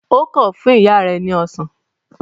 O kan fún ìyá ẹ ni ọsán.